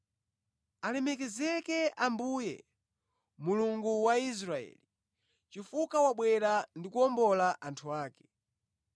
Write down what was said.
“Alemekezeke Ambuye, Mulungu wa Israeli chifukwa wabwera ndi kuwombola anthu ake.